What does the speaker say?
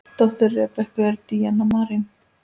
Dóttir Rebekku er Díana Marín.